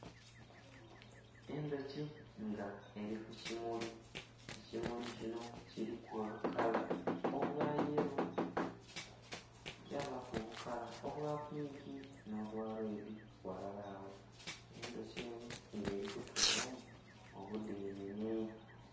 Endhoki nga eri ku kimuli ekimuli kinho kilimu obukala obwa yello kya baku obukala obwa pinki nho bwa lwedi ghalala agho, endhoki enho nga eri kutolamu omudenenhe.